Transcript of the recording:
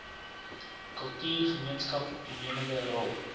kultuurgemeenskap toenemende rol